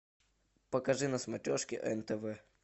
покажи на смотрешке нтв